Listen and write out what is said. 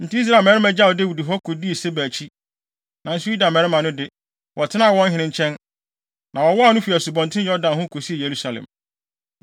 Enti Israel mmarima gyaw Dawid hɔ, kodii Seba akyi. Nanso Yuda mmarima no de, wɔtenaa wɔn hene nkyɛn, na wɔwowaw no fi Asubɔnten Yordan ho, kosii Yerusalem.